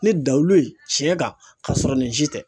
Ne da lu ye tiɲɛ kan k'a sɔrɔ nin si tɛ.